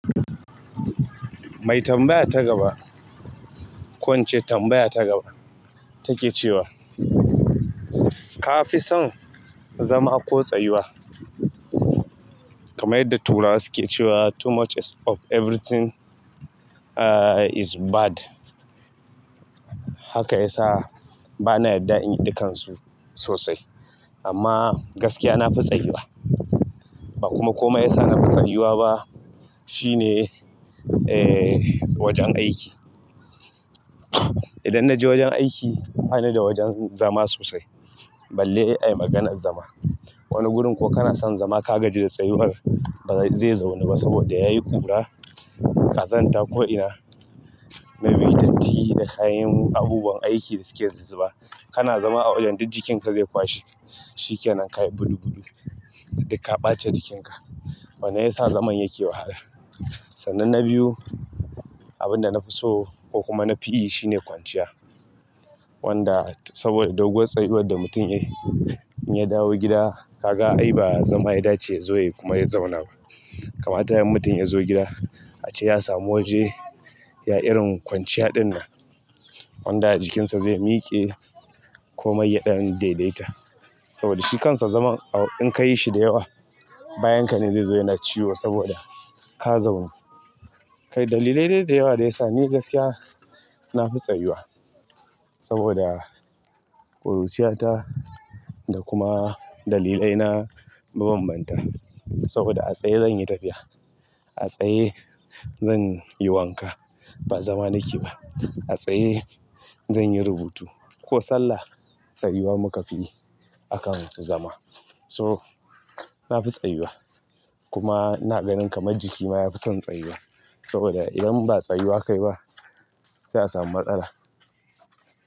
Mai tambaya ta gaba, ko ince tambaya ta gaba take cewa ka fi son zama ko tsayuwa? Kamar yadda turawa suke cewa "too much of everything is bad" haka ya sa bana yadda in yi dakansu sosai. Amma gaskiya na fi tsayuwa. Bakuma komai yasa na fi tsayuwa ba shine ehh wajen aiki idan na je wajen aiki bani da wajen zama sosai balle ai maganar zama. Wani gurin ko kana son zama ka gaji da tsayuwar ba zai zauna ba saboda yayi ƙura, ƙazanta ko ina, maimaitatti da kayan abubuwan aiki da suke zuzzuba. Kana zama a wajen duk jikinka zai kwashe shikenan ka yi budubudu dukka ɓata jikinka. Wanan ya sa zaman yake wahala. Sannan na biyu, abin da na fi so ko kuma na fi iya shine kwanciya. Wanda saboda doguwar tsayuwar da mutum yayi, in ya dawo gida ka ga ai ba zama ya dace ya zo yai kuma ya zauna ba. Kamata yayi in mutum ya zo gida a ce ya samu waje ya irin kwanciya ɗinnan wanda jikinsa ze miƙe komai ya ɗan daidaita. Saboda shi kansa zaman a in kayi shi da yawa bayan ka ne zai zo yana ciwo saboda ka zaunu. Kai dalilai dai da yawa da ya sa ni gaskiya na fi tsayuwa. Saboda ƙuruciyata da kuma dalilai na ma bambanta. Saboda a tsaye zan yi tafiya, a tsaye zan yi wanka ba zama nake ba. A tsaye zan yi rubutu ko sallah. Tsayuwa muka fi yi akan zama. So na fi tsayuwa kuma ina ganin kamar jiki ma ya fi son tsayuwa saboda idan ba tsayuwa kai ba se a samu matsala.